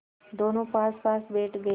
दोेनों पासपास बैठ गए